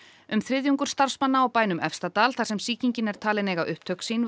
um þriðjungur starfsmanna á bænum Efstadal þar sem sýkingin er talin eiga upptök sín